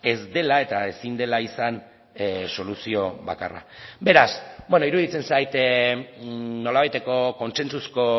ez dela eta ezin dela izan soluzio bakarra beraz iruditzen zait nolabaiteko kontsentsuzko